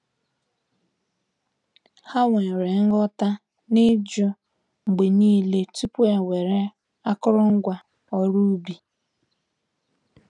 Ha nwere nghọta na-ijụ mgbe niile tupu ewere akụrụngwa oru ubi.